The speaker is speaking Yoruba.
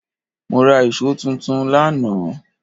Mó rá íṣo tuntun lánàá